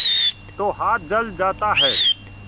तो हाथ जल जाता है